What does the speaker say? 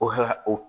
O kɛra o